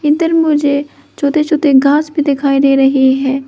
इधर मुझे छोटे छोटे घास भी दिखाई दे रहें हैं।